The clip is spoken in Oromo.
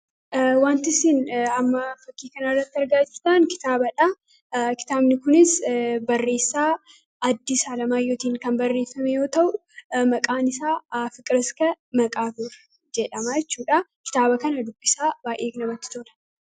wanti isin amma fakkiikan arratti argaajitaan iaaadha kitaabni kunis barreessaa addi isaa lamaayyootiin kan barreessamyoo ta'u maqaan isaa fiqiraska maqaatora jedhamaachuudha kitaaba kana dubbisaa baa'eek namatti toola